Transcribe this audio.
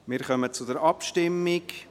Wir kommen zur Abstimmung.